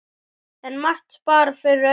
En margt bar fyrir augu.